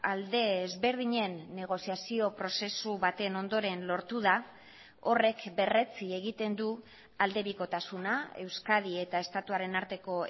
alde ezberdinen negoziazio prozesu baten ondoren lortu da horrek berretsi egiten du aldebikotasuna euskadi eta estatuaren arteko